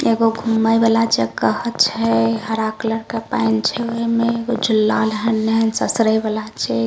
एगो घूमे वाला जगह छै हरा कलर के पेएन छै ओय में एगो झुल्ला ससरे वाला छै।